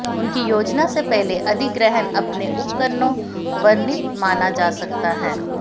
उनकी योजना से पहले अधिग्रहण अपने उपकरणों वर्णित माना जा सकता है